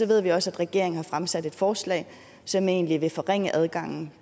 ved vi også at regeringen har fremsat et forslag som egentlig vil forringe adgangen